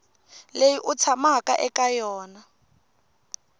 leyi u tshamaka eka yona